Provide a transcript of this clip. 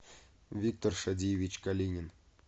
виктор шадиевич калинин